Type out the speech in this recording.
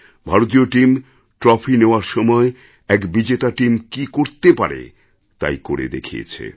ভারতীয় team trophy নেওয়ার সময় এক বিজেতা টিম কি করতে পারে তাই করে দেখিয়েছে